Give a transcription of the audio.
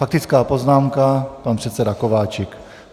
Faktická poznámka - pan předseda Kováčik.